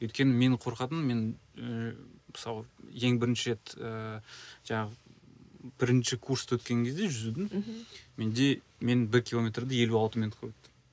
өйткені менің қорқатыным мен ііі мысалы ең бірінші рет ііі жаңағы бірінші курсты өткен кезде жүзудің мхм менде мен бір километрді елу алты минутқа өттім